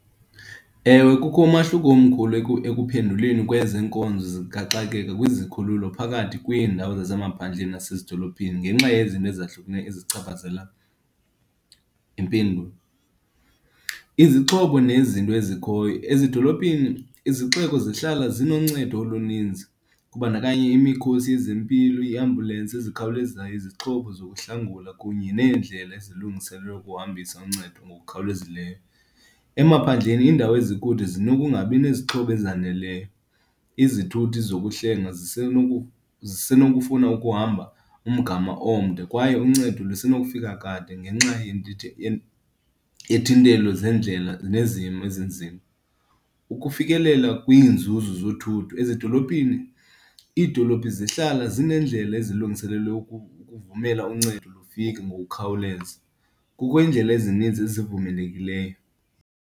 Ewe, kukho umahluko omkhulu ekuphenduleni kwezenkonzo zikaxakeka kwizikhululo phakathi kwiindawo zasemaphandleni nasezidolophini ngenxa yezinto ezahlukeneyo ezichaphazela impilo. Izixhobo nezinto ezikhoyo. Ezidolophini izixeko zihlala zinoncedo oluninzi, kubandakanya imikhosi yezempilo, iiambulensi ezikhawulezayo, izixhobo zokuhlangula kunye neendlela ezilungiselelwe ukuhambisa uncedo ngokukhawulezileyo. Emaphandleni iindawo ezikude zinokungabi nezixhobo ezaneleyo. Izithuthi zokuhlenga zisenokufuna ukuhamba umgama omde kwaye uncedo lusenokufika kade ngenxa yethintelo zeendlela ezinzima. Ukufikelela kwiinzuzo zothutho ezidolophini. Iidolophi zihlala zineendlela ezilungiselelwe ukuvumela uncedo lufika ngokukhawuleza. Kukho iindlela ezininzi ezivumelekileyo.